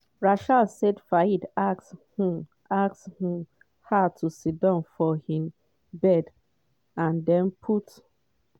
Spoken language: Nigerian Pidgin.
rachel say fayed ask um ask um her to sidon for im bed and den put